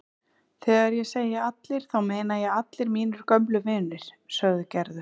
Þegar ég segi allir þá meina ég allir mínir gömlu vinir sagði Gerður.